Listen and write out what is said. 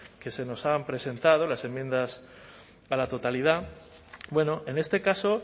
que se nos han presentado las enmiendas a la totalidad bueno en este caso